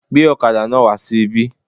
Gbé ọ̀kadà náà wà sí ibí.